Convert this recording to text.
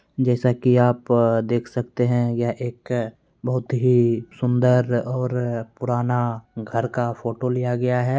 जैसा कि आप देख सकते हैं यह एक बहुत ही सुंदर और पुराना घर का फोटो लिया गया है।